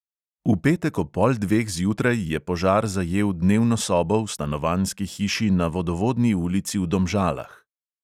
V petek ob pol dveh zjutraj je požar zajel dnevno sobo v stanovanjski hiši na vodovodni ulici v domžalah.